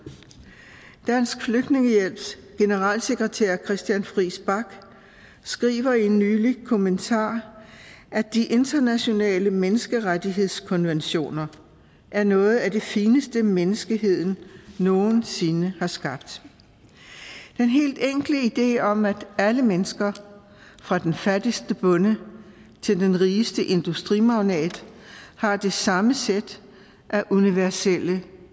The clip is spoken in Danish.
dansk flygtningehjælps generalsekretær christian friis bach skriver i en nylig kommentar de internationale menneskerettighedskonventioner er noget af det fineste menneskeheden nogensinde har skabt den helt enkle idé om at alle mennesker fra den fattigste bonde til den rigeste industrimagnat har det samme sæt af universelle